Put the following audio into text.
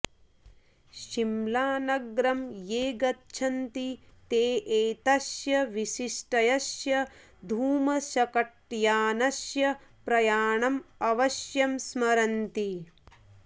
शिम्लानगरं ये गच्छन्ति ते एतस्य विशिष्टस्य धूमशकटयानस्य प्रयाणम् अवश्यं स्मरन्ति